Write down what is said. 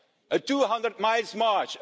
A 200-mile march.